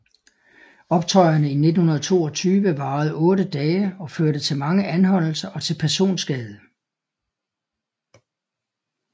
Optøjerne i 1922 varede otte dage og førte til mange anholdelser og til personskade